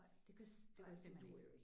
Det kunne det kunne jeg simpelthen ikke